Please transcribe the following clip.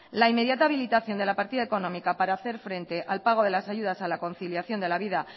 la inmediata habilitación de la partida económica para hacer frente al pago de ayudas a la conciliación de la vida